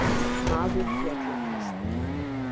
Maður féll af hesti